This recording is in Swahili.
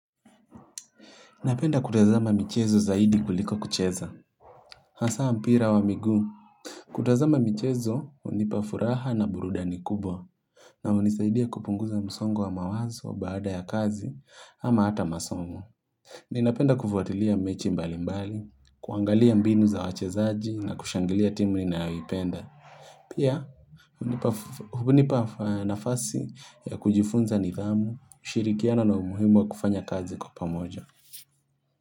Napenda kutazama michezo zaidi kuliko kucheza Hasa mpira wa miguu kutazama michezo, hunipa furaha na burudani kubwa na hunisaidia kupunguza msongo wa mawazo baada ya kazi ama hata masomo Ninapenda kufuatilia mechi mbali mbali, kuangalia mbinu za wachezaji na kushangilia timu ninayoipenda Pia, hunipa nafasi ya kujifunza nidhamu, ushirikiano na umuhimu wa kufanya kazi kwa pamoja.